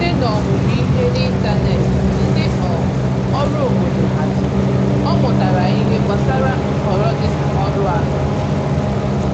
Site n’omumụ ihe n’ịntanetị ndị um ọrụ obodo haziri, ọ mutara ìhè gbasàra nhọrọ dị na ọrụ ahụike.